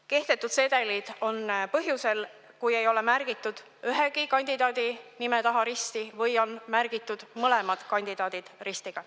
Sedelid on kehtetud põhjusel, et ei ole märgitud ühegi kandidaadi nime taha risti või on märgitud mõlemad kandidaadid ristiga.